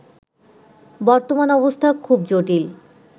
বর্তমান অবস্থা খুব জটিল